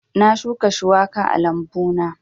Na shuka shuwaka a lambu na